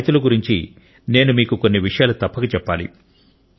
ఆ రైతుల గురించి నేను మీకు కొన్ని విషయాలు తప్పక చెప్పాలి